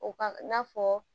O kan i n'a fɔ